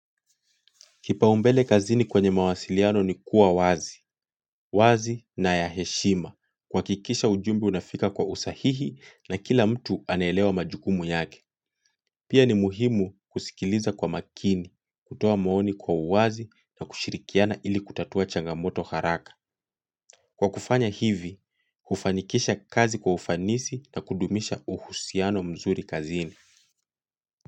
Kipaumbele kazini kwenye mawasiliano ni kuwa wazi, wazi na ya heshima, kuhakikisha ujumbe unafika kwa usahihi na kila mtu anaelewa majukumu yake. Pia ni muhimu kusikiliza kwa makini, kutoa maoni kwa uwazi na kushirikiana ili kutatua changamoto haraka. Kwa kufanya hivi, kufanikisha kazi kwa ufanisi na kudumisha uhusiano mzuri kazini.